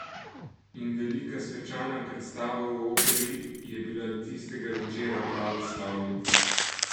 In velika svečana predstava v Operi je bila tistega večera pravo slavje.